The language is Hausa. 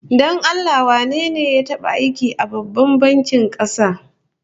Don Allah wane ne ya taba aiki a Babban bankin kasa?